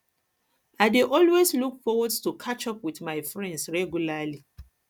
i dey always look forward to catch up with my friends regularly